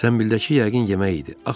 Zəmbildəki yəqin yemək idi.